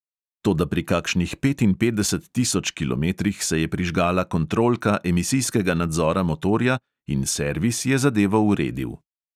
Toda pri kakšnih petinpetdeset tisoč kilometrih se je prižgala kontrolka emisijskega nadzora motorja in servis je zadevo uredil.